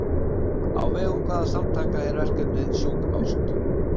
Á vegum hvaða samtaka er verkefnið Sjúk ást?